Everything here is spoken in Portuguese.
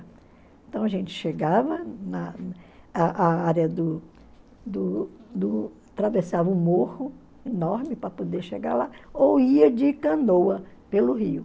Então a gente chegava na á área do do do... atravessava um morro enorme para poder chegar lá ou ia de canoa pelo rio.